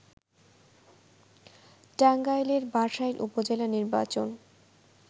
টাঙ্গাইলের বাসাইল উপজেলা নির্বাচন